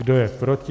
Kdo je proti?